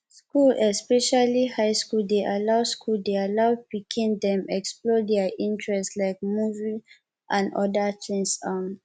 school especially high school dey allow school dey allow pikin dem explore their interest like music and odda things um